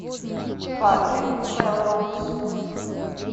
патрик мелроуз